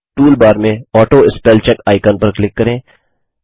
toolbar में auto spellcheck icon पर click करें